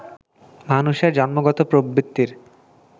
মানুষের জন্মগত প্রবৃত্তির